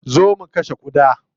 Zo mu kashe ƙuda.